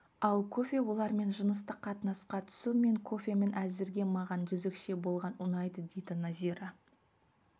ал кофе олармен жыныстық қатынасқа түсу мен кофемін әзірге маған жезөкше болған ұнайды дейді назира